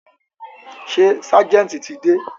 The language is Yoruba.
Ṣé ságẹ̀ntì ti dé?